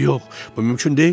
Yox, yox, bu mümkün deyil.